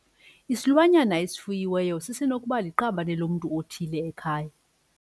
Isilwanyana esifuyiweyo sisenokuba liqabane lomntu othile ekhaya.